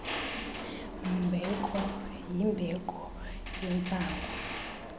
mbeko yimbeko yentsangu